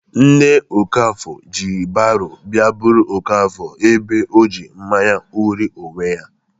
Nne Okafor ji baro bịa buru Okafor ebe ọjị mmanya ṅụrie onwe ya.